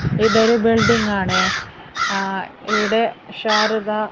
ഇതൊരു ബിൽഡിംഗ് ആണ് ആ ഇവിടെ ശാരദ--